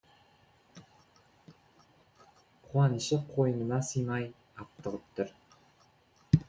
қуанышы қойнына сыймай аптығып тұр